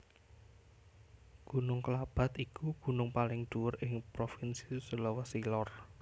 Gunung Klabat iku gunung paling dhuwur ing Provinsi Sulawesi Lor